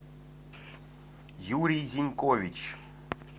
юрий зенкович